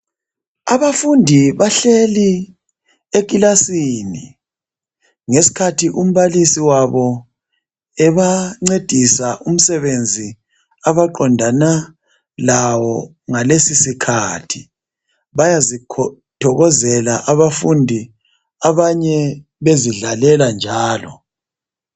Abafundi bahleli ekilasini, ngesikhathi umbalisi wabo ebancedisa umsebenzi abaqondana lawo ngalesi sikhathi. Bayazithokozela abafundi abanye bezidlalela njalo.